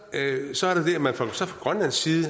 så er man fra grønlands side